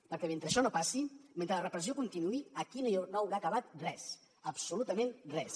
perquè mentre això no passi mentre la repressió continuï aquí no haurà acabat res absolutament res